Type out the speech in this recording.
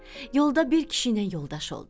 Yolda bir kişi ilə yoldaş oldu.